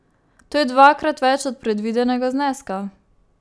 To je dvakrat več od predvidenega zneska.